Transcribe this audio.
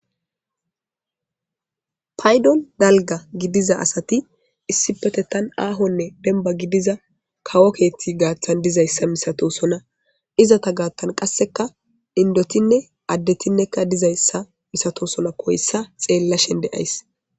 paydon dalga gidiza asati issipete tan aahonne benba gidiza kawo keethti gaaththan dizayssa misato sona izata gaattan qasseka indotinne addetinnekka dizayssa misato sona koyssa xeella shende ays